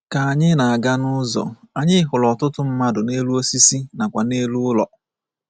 Ka anyị na-aga nụzọ, anyị hụrụ ọtụtụ mmadụ n’elu osisi nakwa n’elu ụlọ.